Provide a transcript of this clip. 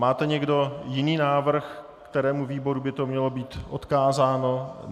Máte někdo jiný návrh, kterému výboru by to mělo být odkázáno?